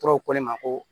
Tɔw ko ne ma ko